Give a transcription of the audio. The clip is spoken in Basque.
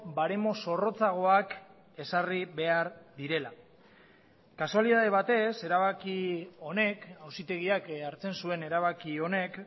baremo zorrotzagoak ezarri behar direla kasualitate batez erabaki honek auzitegiak hartzen zuen erabaki honek